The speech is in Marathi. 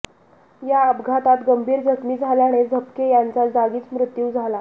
या अपघातात गंभीर जखमी झाल्याने झपके यांचा जागीच मृत्यू झाला